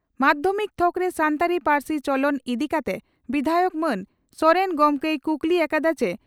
ᱢᱟᱫᱷᱭᱚᱢᱤᱠ ᱛᱷᱚᱠᱨᱮ ᱥᱟᱱᱛᱟᱲᱤ ᱯᱟᱹᱨᱥᱤ ᱪᱚᱞᱚᱱ ᱤᱫᱤ ᱠᱟᱛᱮ ᱵᱤᱫᱷᱟᱭᱚᱠ ᱢᱟᱱ ᱥᱚᱨᱮᱱ ᱜᱚᱢᱠᱮᱭ ᱠᱩᱠᱞᱤ ᱟᱠᱟᱫᱼᱟ ᱪᱤ